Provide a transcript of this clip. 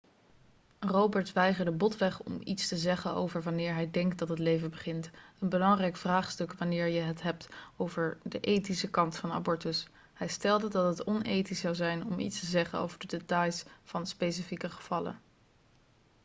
roberts weigerde botweg om iets te zeggen over wanneer hij denkt dat het leven begint een belangrijk vraagstuk wanneer je het hebt over de ethische kant van abortus hij stelde dat het onethisch zou zijn om iets te zeggen over de details van specifieke gevallen